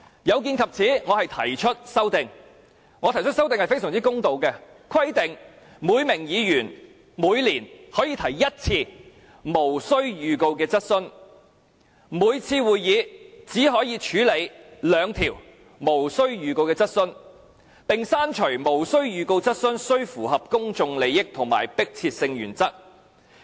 有見及此，我提出修正案，而我提出的修正案非常公道，就是規定每名議員每年可以提一次無經預告的質詢，每次會議只可以處理兩項無經預告的質詢，並刪除無經預告的質詢須與公眾有重大關係和性質急切的原則。